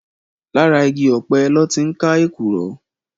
Làrá igi òpè lòtí n ká ékúrò